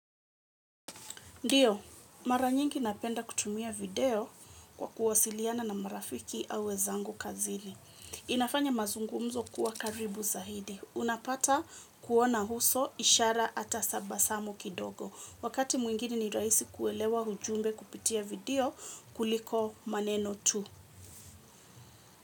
Ndiyo, mara nyingi napenda kutumia video kwa kuwasiliana na marafiki au wezangu kazili. Inafanya mazungumzo kuwa karibu zahidi. Unapata kuona huso ishara ata sabasamo kidogo. Wakati mwingine ni raisi kuelewa hujumbe kupitia video kuliko maneno tu.